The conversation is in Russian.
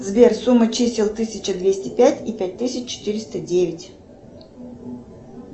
сбер сумма чисел тысяча двести пять и пять тысяч четыреста девять